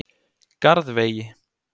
Garðvegi